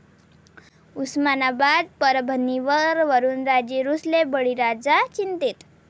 उस्मानाबाद, परभणीवर वरूणराजे रुसले, बळीराजा चिंतेत